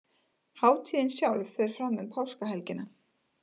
Hátíðin sjálf fer fram um Páskahelgina